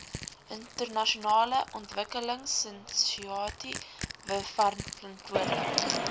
internasionale ontwikkelingsinisiatiewe verantwoordelik